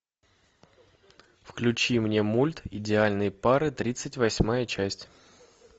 включи мне мульт идеальные пары тридцать восьмая часть